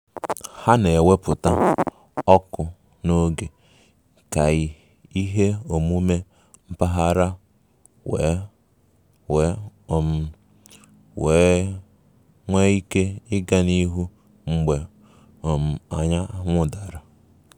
Ha na-ewepụta ọkụ n'oge ka ihe omume mpaghara wee wee um nwee ike ịga n'ihu mgbe um anyanwụ dara